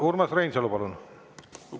Urmas Reinsalu, palun!